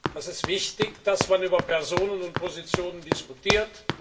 Es ist wichtig, dass man über Personen und Positionen diskutiert.